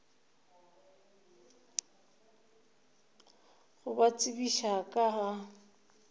go ba tsebiša ka ga